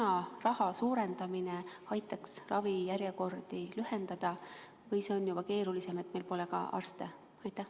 Kas raha suurendamine aitaks ravijärjekordi lühendada või on see keerulisem, sest meil pole ka arste?